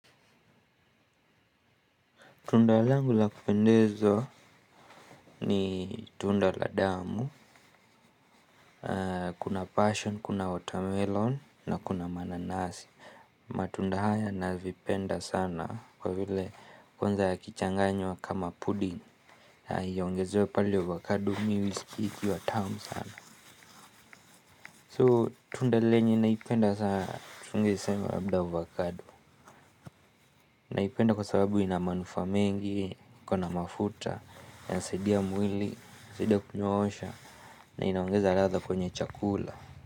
Tunda langu la kupendeza ni tunda la damu, kuna passion, kuna watermelon na kuna mananasi. Matunda haya navipenda sana kwa vile kwanza yakichanganywa kama pudin. Na iongezewe pale ovakado mi huiskia ikiwa tamu sana. So tunda lenye naipenda sana tungeisema labda ovakado. Naipenda kwa sababu ina manufaa mengi, iko na mafuta, inasaidia mwili, inasaidia kunyoosha na inaongeza ladha kwenye chakula.